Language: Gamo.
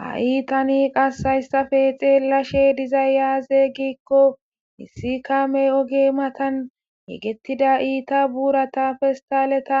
ha iitani qassayssafe xeellashe dizay yaaze giikko misikamey oge matan yegettida iita buurata festaleta